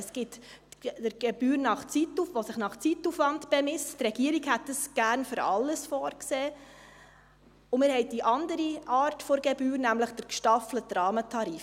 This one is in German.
Es gibt die Gebühr, die sich nach Zeitaufwand bemisst – die Regierung hätte dies gerne für alles vorgesehen –, und wir haben die andere Art der Gebühr, nämlich den gestaffelten Rahmentarif.